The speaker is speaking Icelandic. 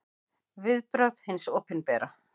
Viðbrögð hins opinbera